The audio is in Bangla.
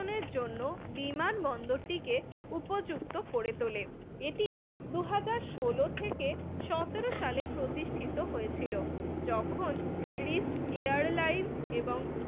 জন্য বিমানবন্দরটিকে উপযুক্ত করে তোলে এটি দুই হাজার ষোল থেকে সতেরো সালে প্রতিষ্ঠিত হয়েছিল যখন রিষ্ট এয়ারলাইন